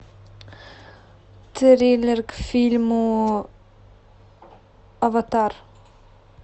трейлер к фильму аватар